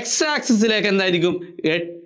X access ലേക്ക് എന്തായിരിക്കും